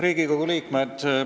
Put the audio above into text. Riigikogu liikmed!